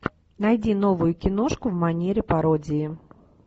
найди новую киношку в манере пародии